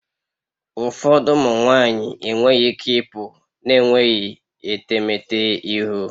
Ụfọdụ ụmụ nwanyị enweghị ike ịpụ na-enweghị etemeete ihu